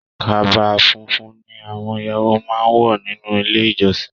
Kaba fúnfún ní àwọn ìyàwó máa n wọ nínú ilé ìjọsìn.